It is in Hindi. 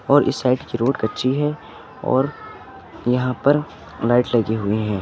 और इस साइड की रोड कच्ची है और यहां पर लाइट लगी हुई है।